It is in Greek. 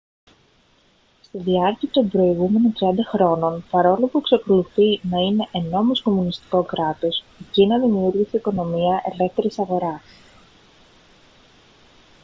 στη διάρκει των προηγούμενων 30 χρόνων παρόλο που εξακολουθεί να είναι εννόμως κομμουνιστικό κράτος η κίνα δημιούργησε οικονομία ελεύθερης αγοράς